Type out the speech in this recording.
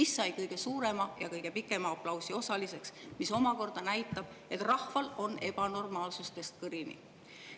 See sai kõige suurema ja kõige pikema aplausi osaliseks, mis omakorda näitab, et rahval on ebanormaalsustest kõrini.